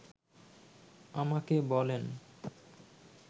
আমাকে বলেন